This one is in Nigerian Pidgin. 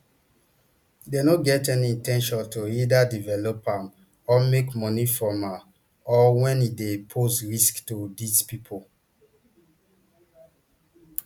dem no get any in ten tion to either develop am or make money from am or when e dey pose risk to di pipo